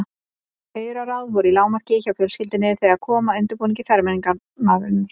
Auraráð voru í lágmarki hjá fjölskyldunni þegar kom að undirbúningi fermingarinnar.